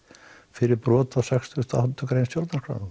fyrir brot á sextíu og átta grein stjórnarskrárinnar